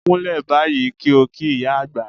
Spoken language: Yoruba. Kúnlẹ̀ báyìí kí ó kí ìyá àgbà!